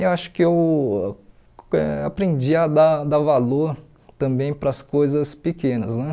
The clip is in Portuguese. Eu acho que eu eh aprendi a dar dar valor também para as coisas pequenas, né?